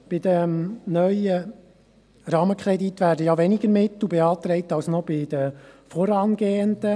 Bei diesem neuen Rahmenkredit werden ja weniger Mittel beantragt als noch bei den vorangehenden.